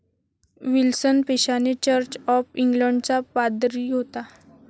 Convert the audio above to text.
Wilson पेशाने church of इंग्लंडचा पादरी होता.